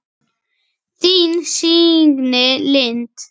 Þín, Signý Lind.